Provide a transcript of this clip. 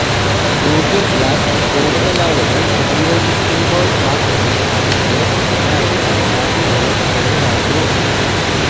Google glass കൂടുതലാളുകള് ഉപയോഗിക്കുമ്പോള് മാത്രമേ അതിന്റെ യഥാര്ഥ സാധ്യതകള് വെളിവാകൂ